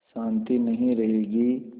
शान्ति नहीं रहेगी